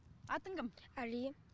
атың кім әли